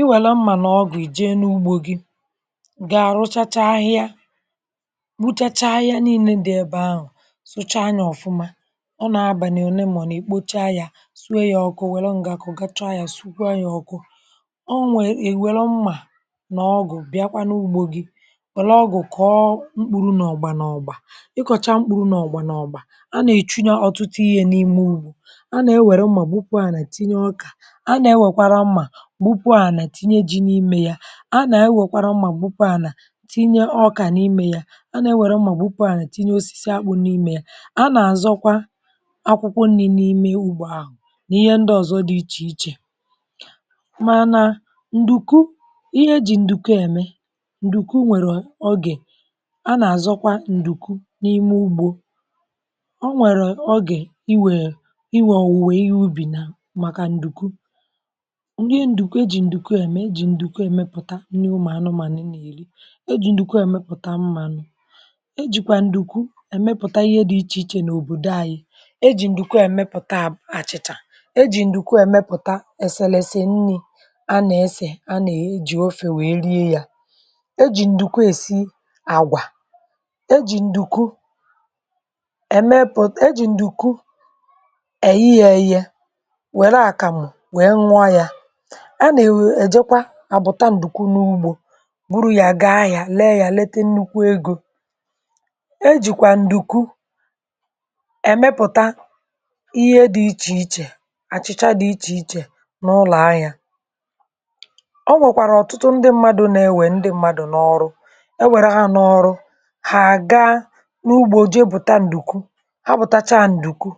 ì wèrè mmà n’ọgụ̀ ì jèe n’ugbȯ gị gà-rụchacha ahịa, kbuchachaa ahịa niile dị ebe ahụ̀, sọọchaa yà ọ̀fụma. ọ nà-abànye, òlè mọ̀ nà ì kpochaa yà, sụè yà ọkụ, wèlee mgbè kọ̀gachaa yà, sụkwà yà ọkụ um. ọ nwèrè, è wèrè mmà nà ọgụ̀ bịakwà n’ugbȯ gị. wèlee ọgụ̀, kọ̀ọ mkpụrụ̇ nà ọgbà nà ọgbà, ịkọ̀cha mkpụrụ̇ nà ọgbà nà ọgbà. a nà-èchùnyè ọtụtụ ihe n’ime ugbȯ. a nà-ewèrè mmà gbùpù, à nà tìnyè ọkà. a nà-ewèkwàrā mmà gbùpù, à nà tìnyè jí n’ímē ya. à nà-ewèkwàrà mmà gbùpù, à nà tìnyè ọkà n’ímē ya. a nà-ewèrè mmà gbùpù, à nà tìnyè osisi àkpù n’ímē ya. a nà-àzòkwa akwụkwọ nri̇ n’ímē ugbȯ ahụ̀ nà ihe ndị ọ̀zọ dị̇ iche iche um. mànà ǹdùékwú, ihe jí ǹdùkwú, èmè ǹdùkwú, nwèrè ogè. a nà-àzòkwa ǹdùkwú n’ímē ugbȯ. ò nwèrè ogè, ì wèrè, ì wè, ọ̀wụ̀wè ihe ùbí nà, màkà ǹdùkwú um. ihe ǹdùkwú eji̇, ǹdùkwú èmè, eji̇ ǹdùkwú èmepụ̀tà nni ụmụ̀anụ̄ mà nà ì nà-èrì. eji̇ ǹdùkwú èmepụ̀tà m̀mánụ̄. ejìkwà ǹdùkwú èmepụ̀tà ihe dị̇ iche iche n’òbòdò anyị. eji̇ ǹdùkwú èmepụ̀tà àchị̀chà. eji̇ ǹdùkwú èmepụ̀tà èsèlèsè nni̇, a nà èsè, a nà ejì ofè, wèe rie yà. eji̇ ǹdùkwú èsì àgwà. eji̇ ǹdùkwú èmepụ̀ um. eji̇ ǹdùkwú èyì yè yè, wèrè àkàmụ̀, wèe nùo yà, à nà enyè um. àbụtà ǹdùkwú n’ugbȯ, bụrụ yà, gàa ya, lèe ya, lètè nnukwu egò. ejìkwà ǹdùkwú èmepụ̀tà ihe dị iche iche, àchị̀chà dị iche iche, n’ụlọ̀ ahịa. ò nwèkwàrà ọ̀tùtù ndị mmadụ̇, nà-ènwè, ndị mmadụ̄ nà-òrù. èwèrè hà nà-òrù, hà àgà n’ugbȯ, jèe bụ̀tà ǹdùkwú. hà bụ̀táchà ǹdùkwú.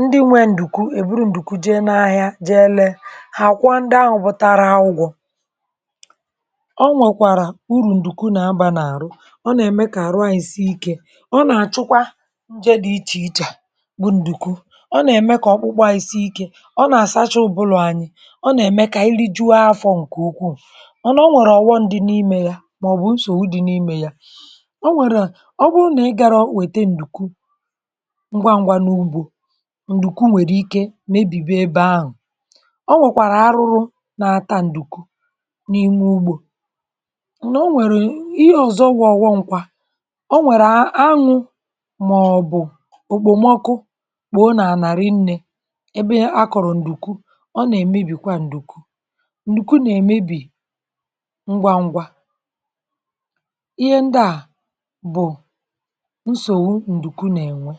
ndị nwèrè ǹdùkwú, èbụrụ ǹdùkwú, jè n’ahịa, jèe lèe um. hà kwùó, ndị áhù̀ bòtàrà yà, ụ̀gbọ̀. ọ nwèkwàrà ùrù ǹdùkwú. nà-àbànàrù, ọ nà-èmè, kà àrụ̀ ahịsìikè. ọ nà-àchụkwà njè dị̇ iche iche, bụ ǹdùkwú. ọ nà-èmè kà ọkpụkpụ à í sì ikè. ọ nà-àsàchá ụ̀bụlụ̇ anyị̇. ọ nà-èmè kà ìlí jùo afọ̇. ǹkè ukwuù. ọ nà-ènwèrè ọ̀ghọm dị̇ n’ímē yà, màọ̀bụ̀ nsògbu dị̇ n’ímē yà. ọ nwèrè um. ọ bùrụ̀ nà ì gàrā, wètè ǹdùkwú ngwaǹgwà n’ugbȯ, ǹdùkwú nwèrè ikè nà èbíbí ebe ahụ̀. onwe kwàrà, arụ̀rụ̀, nà taa ǹdùkwú n’ímē ugbȯ. nà ò nwèrè ihe ọ̀zọ, gwọ̇ ọgwụ̀, ǹkwà. ò nwèrè ahụ̇, màọ̀bụ̀ òkpòmọkụ̀, kpòo n’álà rì nnē ebe akọ̀rọ̀ ǹdùkwú. ọ nà-èmebí kwa ǹdùkwú. ǹdùkwú nà-èmebí ngwa, ǹgwȧ. ihe ndị à bụ̀ ǹdùkwú nà ènwè.